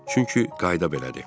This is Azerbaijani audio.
Çünki qayda belədir.